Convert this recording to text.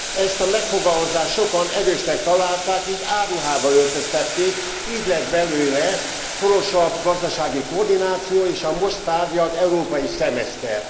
Ezt a megfogalmazást sokan erősnek találták, így álruhába öltöztették, így lett belőle szorosabb gazdasági koordináció és a most tárgyalt európai szemeszter.